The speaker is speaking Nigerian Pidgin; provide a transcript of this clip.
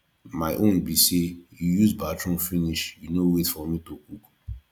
my own be say you use the bathroom finish you no wait for me to cook